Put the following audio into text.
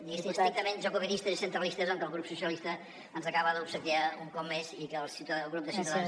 diguéssim estrictament jacobinistes i centralistes amb què el grup socialistes ens acaba d’obsequiar un cop més i que el grup de ciutadans